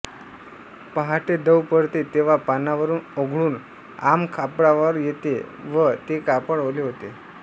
पहाटे दव पडते तेव्हा पानावरून ओघळून आंब कापडावर येते व ते कापड ओले होते